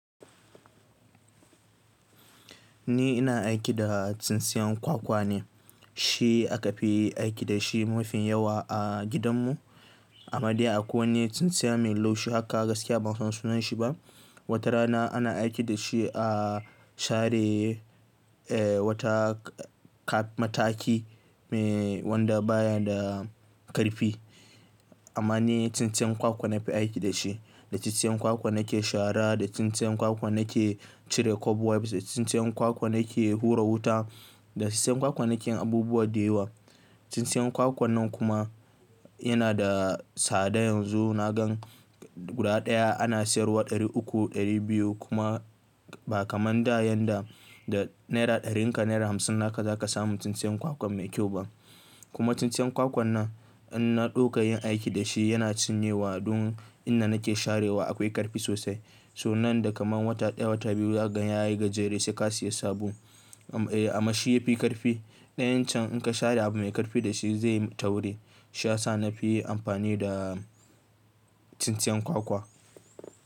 Ni ina aiki da tsintsiyan kwakwa ne, shi aka fi yi aiki da shi mafi yawa a gidan mu. A made akwai wani tsintsiya mai laushi haka gaskiya ban san sunan shi ba. Wata rana ana aiki dashi a share eh wata ka mataki Eh wanda baya da ƙarfi. Amma ni tsintsiyan kwakwa na fi aiki da shi. Da tsintsiyan kwakwa na ke shara, da tsintsiyan kwakwa nake cire cobwebs, da tsintsiyan kwakwa nake hura wuta, da tsintsiyan kwakwa nake abubuwa da yawa. Tsintsiyan kwakwan nan kuma yana da tsada yanzu na gan. Guda ɗaya ana sayarwa ɗari uku, ɗari biyu kuma ba kaman da yanda da naira ɗarinka naira hamsin naka zaka samu tsintsiyan kwakwa mai kyau ba. Kuma tsintsiyan kwakwan nan idan na ɗauka yin aiki dashi yana cinyewa dun inda nake sharewa akwai ƙarfi sosai. So nan da kaman wata ɗaya wata biyu na gan yayi gajere sai ka siya sabo. Am eh amma shi yafi ƙarfi. Ɗayan can inka share abu mai ƙarfi dashi zaiy tauri. Shiyasa nafi amfani da tsintsiyan kwakwa.